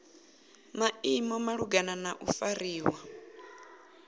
maimo malugana na u fariwa